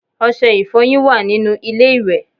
Ọṣẹ ìfọyín wà nínú ilé ìwẹ̀